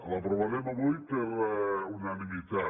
l’aprovarem avui per unanimitat